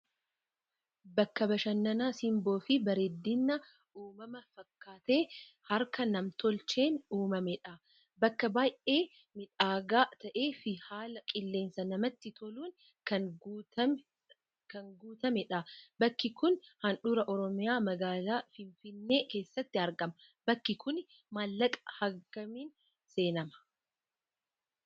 Bakka bashannanaa simboo fi bareedina uumamaa fakkaatee harka nam-tolcheen uumamedha. Bakka baay'ee miidhagaa ta'ee fi haala qilleensaa namatti toluun kan guutamedha. Bakki kun handhuura Oromiyaa magaalaa Finfinnee keessatti argama. Bakki kun maallaqa hangamiin seenama?